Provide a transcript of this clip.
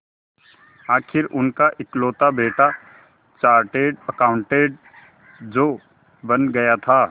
आखिर उनका इकलौता बेटा चार्टेड अकाउंटेंट जो बन गया था